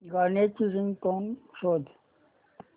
गाण्याची रिंगटोन शोध